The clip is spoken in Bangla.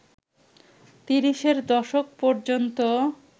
তিরিশের দশক ‌পর্যন্ত